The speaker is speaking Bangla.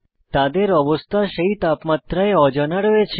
তাদের অবস্থা সেই তাপমাত্রায় অজানা রয়েছে